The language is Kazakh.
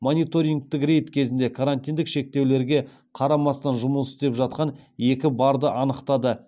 мониторингтік рейд кезінде карантиндік шектеулерге қарамастан жұмыс істеп жатқан екі барды анықтады